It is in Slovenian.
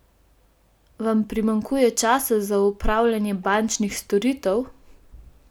Vam primanjkuje časa za opravljanje bančnih storitev?